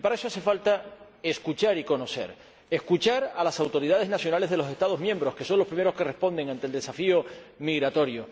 Y para eso hace falta escuchar y conocer escuchar a las autoridades nacionales de los Estados miembros, que son los primeros que responden ante el desafío migratorio